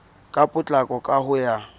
ka potlako ka ho ya